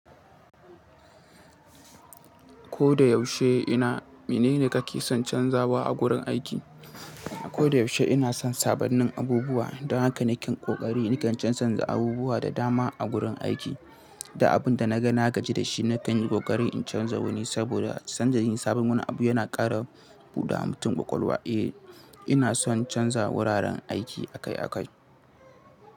Ko da yaushe ina, mene ne kake son canzawa a gurin aiki? Ko da yaushe ina son sabannin abubuwa. Don haka nake ƙoƙari nakan canza abubuwa da dama a gurin aiki. Da abin da na ga na gaji da shi, na kan yi ƙoƙari in canza wani saboda canza sabon wani abu yana ƙara buɗa wa mutum ƙwaƙwalwa. Eh, ina son canza wuraren aiki akai akai.